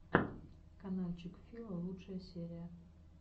канальчик фила лучшая серия